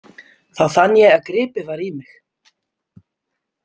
Þá fann ég að gripið var í mig.